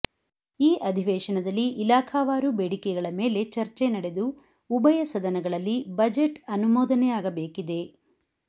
ಈ ಅಧಿವೇಶನದಲ್ಲಿ ಇಲಾಖಾವಾರು ಬೇಡಿಕೆಗಳ ಮೇಲೆ ಚರ್ಚೆ ನಡೆದು ಉಭಯ ಸದನಗಳಲ್ಲಿ ಬಜೆಟ್ ಅನುಮೋದನೆಯಾಗಬೇಕಿದೆ